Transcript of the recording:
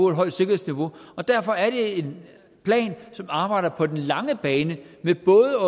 et højt sikkerhedsniveau derfor er det en plan som arbejder på den lange bane ved både